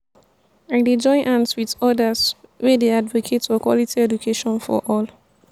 i dey join hands wit odas wey dey advocate for quality education for all.